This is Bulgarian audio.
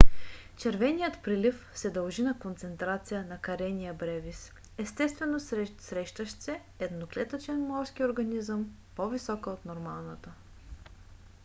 червеният прилив се дължи на концентрация на karenia brevis естествено срещащ се едноклетъчен морски организъм по - висока от нормалната